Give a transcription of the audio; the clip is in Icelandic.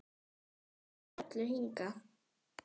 Við komum því öllu hingað.